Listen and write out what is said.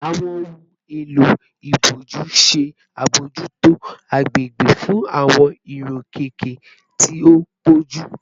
Awọn ohun elo iboju ṣe abojuto agbegbe fun awọn irokeke ti o pọju